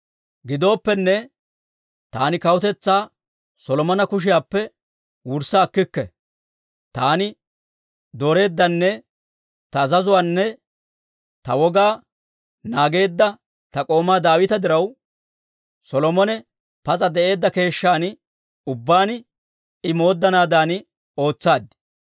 « ‹Gidooppenne, taani kawutetsaa Solomona kushiyaappe wurssa akkikke; taani dooreeddanne ta azazuwaanne ta wogaa naageedda ta k'oomaa Daawita diraw, Solomone pas'a de'eedda keeshshan ubbaan I mooddanaadan ootsaad.